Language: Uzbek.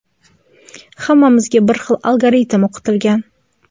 Hammamizga bir xil algoritm o‘qitilgan.